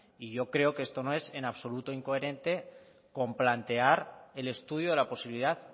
y yo creo que esto no es en absoluto incoherente con plantear el estudio de la posibilidad